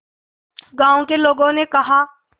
गांव के लोगों ने कहा